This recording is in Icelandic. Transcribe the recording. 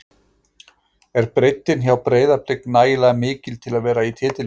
Er breiddin hjá Breiðablik nægilega mikil til að vera í titilbaráttu?